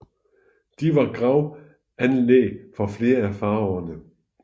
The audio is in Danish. De var gravanlæg for flere af faraoene